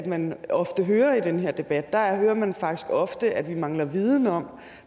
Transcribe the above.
man ofte hører i den her debat der hører man faktisk ofte at vi mangler viden om